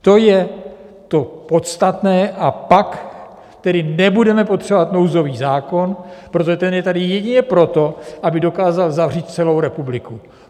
To je to podstatné, a pak tedy nebudeme potřebovat nouzový zákon, protože ten je tady jedině proto, aby dokázal zavřít celou republiky.